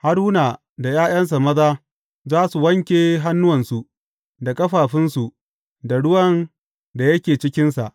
Haruna da ’ya’yansa maza za su wanke hannuwansu da ƙafafunsu da ruwan da yake cikinsa.